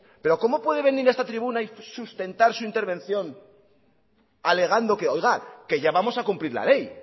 pero cómo puede venir a esta tribuna y sustentar su intervención alegando oiga que ya vamos a cumplir la ley